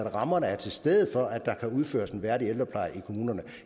at rammerne er til stede for at der kan udføres en værdig ældrepleje i kommunerne